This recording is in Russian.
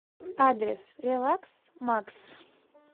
адрес релакс макс